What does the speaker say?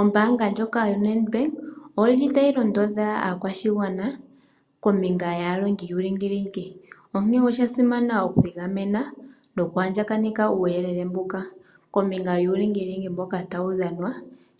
Ombanga ndjoka yoNedbank oyili tayi londodha aakwashigwana kombinga yaalongi yuulingilingi, onkene osha simana okwiigamena noku andjakaneka uuyelele mbuka kombinga yuulingilingi mboka,